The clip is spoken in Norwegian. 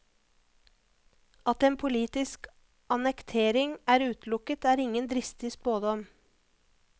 At en politisk annektering er utelukket, er ingen dristig spådom.